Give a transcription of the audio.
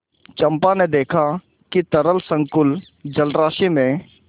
चंपा ने देखा कि तरल संकुल जलराशि में